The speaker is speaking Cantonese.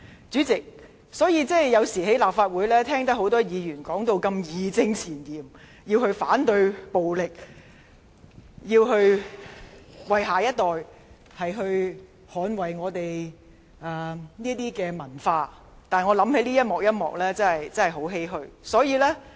主席，我有時候在立法會內聽到多位議員義正詞嚴地表示反對暴力，說要為下一代捍衞香港的文化，但當我想起上述的情景時，我真的感到十分欷歔。